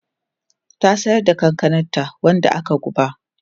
Ta siyar da kankananta wanda aka guba.